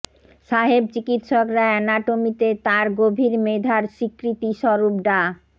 সাহেব চিকিৎসকরা অ্যানাটমিতে তাঁর গভীর মেধার স্বীকৃতি স্বরূপ ডা